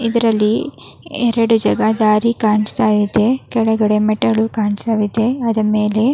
ಇದರಲ್ಲಿ ಎರಡು ಜಾಗ ದಾರಿ ಕಾಣಿಸ್ತಾ ಇದೆ ಕೆಳಗಡೆ ಮೆಟ್ಟಿಲು ಕಾಣಿಸ್ತಾ ಇದೆ ಅದ್ರ ಮೇಲೆ --